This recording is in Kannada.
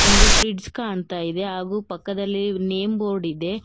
ಒಂದು ಫ್ರಿಡ್ಜ್ ಕಾಣ್ತಾ ಇದೆ ಹಾಗು ಪಕ್ಕದಲ್ಲಿ ನೇಮ್ ಬೋರ್ಡ್ ಇದೆ.